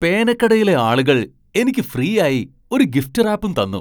പേനക്കടയിലെ ആളുകൾ എനിക്ക് ഫ്രീയായി ഒരു ഗിഫ്റ്റ് റാപ്പും തന്നു!